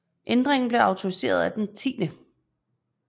Ændringen blev autoriseret af den 10